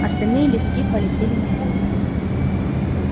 остальные листки полетели на пол